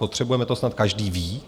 Potřebujeme, to snad každý ví.